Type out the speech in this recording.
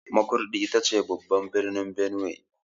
Makurdi ita ce babban birnin Benue.